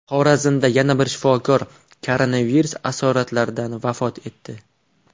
Xorazmda yana bir shifokor koronavirus asoratlaridan vafot etdi.